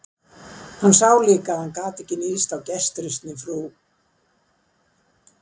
Hann sá líka að hann gat ekki níðst á gestrisni frú